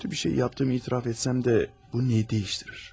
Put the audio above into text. Pis bir şey etdiyimi etiraf etsəm də, bu nəyi dəyişir?